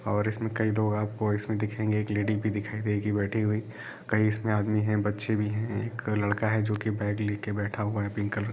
और भी कई लोग आपको इसमें दिखेंगे एक लेडी भी दिखाई देगी बैठी हुई कई इसमें आदमी हैं बच्चे भी हैं एक लड़का है जो की बैग लेके बैठा हुआ है पिंक कलर--